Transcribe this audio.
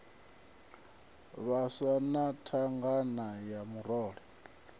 vhaswa na thangana ya murole